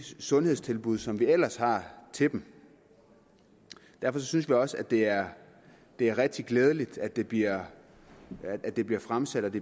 sundhedstilbud som vi ellers har til dem derfor synes vi også at det er det er rigtig glædeligt at det bliver det bliver fremsat